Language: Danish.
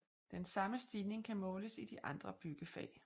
Den samme stigning kan måles i de andre byggefag